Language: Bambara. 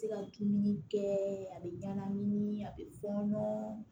Se ka dumuni kɛɛ a bɛ ɲagami a bɛ fɔ ɲɔnɔn